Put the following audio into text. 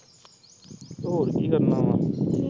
ਤੇ ਹੋਰ ਕੀ ਕਰਨਾ ਵਾ।